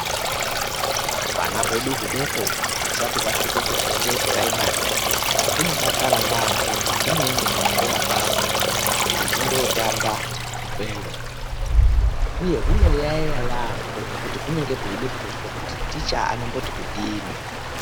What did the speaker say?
Hwana hwedu hudoko husati hwasvika kufundo yedu yepuraimari hunodakara yambo pahunoende kuchikora kwaho hwechindotamba ikweyo uye hunoyaeya yambo ngekuti hunenge hweide kuzwa kuti ticha anomboti kudini.